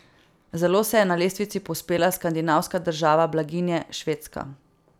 Zelo se je na lestvici povzpela skandinavska država blaginje Švedska.